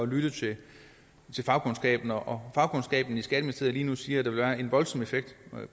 lytte til fagkundskaben og fagkundskaben i skatteministeriet siger det ville have en voldsom effekt